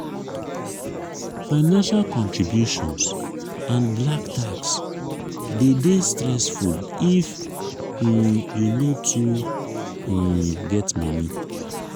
financial contributions and 'black tax" de dey stessfull if um you no too um get money